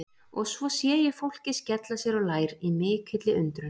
Og svo sé ég fólkið skella sér á lær í mikilli undrun.